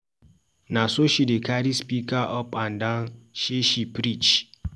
Na so she dey carry speaker up and down sey she preach.